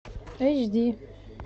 эйч ди